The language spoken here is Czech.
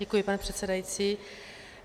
Děkuji, pane předsedající.